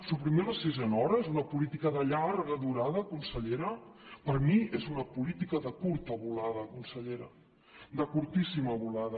suprimir la sisena hora és una política de llarga durada consellera per mi és una política de curta volada consellera de curtíssima volada